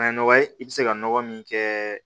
A ye nɔgɔ ye i bi se ka nɔgɔ min kɛ